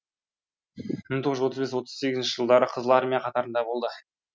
мың тоғыз жүз отыз бес отыз сегізінші жылдары қызыл армия қатарында болды